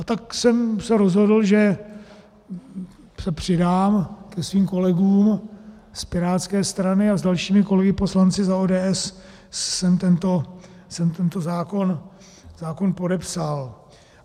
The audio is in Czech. A tak jsem se rozhodl, že se přidám ke svým kolegům z pirátské strany a s dalšími kolegy poslanci za ODS jsem tento zákon podepsal.